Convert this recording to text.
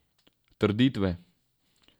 Trditve.